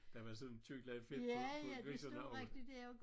Der var sådan et tykt lag fedt på på grisene og